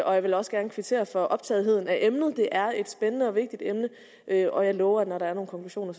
og jeg vil også gerne kvittere for optagetheden af emnet det er et spændende og vigtigt emne og jeg lover at når der er nogle konklusioner